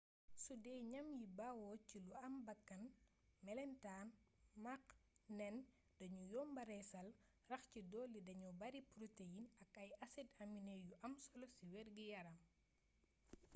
sudee ñam yi bawoo ci lu am bakkan melentaan max nen dañu yomba reesal rax ci dolli dañu bari protéine ak ay acide aminé yu am solo ci wérgi-yaram